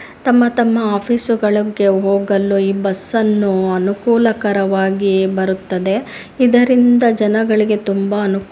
ತಮ್ಮ ತಮ್ಮ ಆಫೀಸ್ ಗಳಿಗೆ ಹೋಗಲು ಈ ಬಸ್ಸ ನ್ನು ಅನುಕೂಲಕರವಾಗಿ ಬರುತ್ತದೆ. ಇದರಿಂದ ಜನಗಳಿಗೆ ತುಂಬ ಅನುಕೂಲ.